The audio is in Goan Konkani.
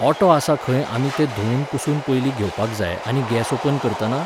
ओटो आसा खंय आमी तें धुवन पुसून पयलीं घेवपाक जाय आनी गॅस ओपन करतना